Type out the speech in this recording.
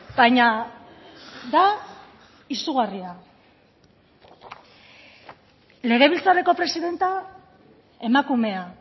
baina da izugarria legebiltzarreko presidentea emakumea